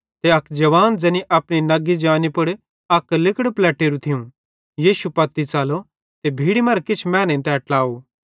ते अक जवान ज़ैनी अपनी नग्गी जानी पुड़ अक लिगड़ पलेट्टेरू थियूं यीशु पत्ती च़लो ते भीड़ी मरां किछ मैनेईं तै ट्लाव